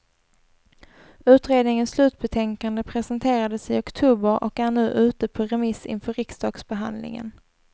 Utredningens slutbetänkande presenterades i oktober och är nu ute på remiss inför riksdagsbehandlingen.